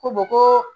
Ko ko